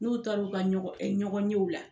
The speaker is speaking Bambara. N'u taara u ka ɲɔgɔn e ɲɔgɔnɲew la